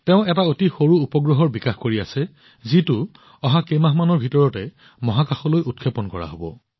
তেওঁ এটা অতি সৰু উপগ্ৰহৰ ওপৰত কাম কৰি আছে যিটো অহা কেইমাহমানৰ ভিতৰত মহাকাশলৈ উৎক্ষেপণ কৰা হব